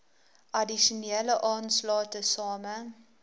addisionele aanslae tesame